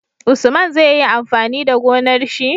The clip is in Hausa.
Usman zai yi amfani da gonar shi?